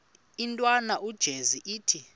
intwana unjeza ithi